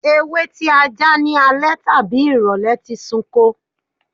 Ewé tí a já ní alẹ́ tàbí ìrọ̀lẹ́ lè ti sunko.